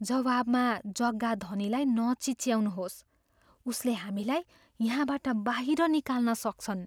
जवाबमा जग्गाधनीलाई नचिच्याउनुहोस्। उसले हामीलाई यहाँबाट बाहिर निकाल्न सक्छन्।